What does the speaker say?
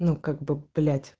ну как бы блять